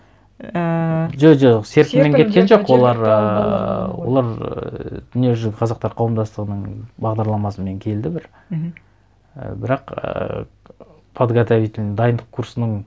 ііі жо жоқ серпінмен кеткен жоқ олар ыыы олар ііі дүниежүзі қазақтар қауымдастығының бағдарламасымен келді бір мхм і бірақ ііі подготовительный дайындық курсының